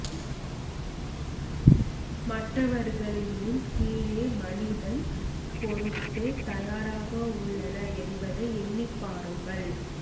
மற்றவர்களின் முன் கீழே மனிதன் பொருட்டு தயாராக உள்ளன என்பதை எண்ணிப் பாருங்கள்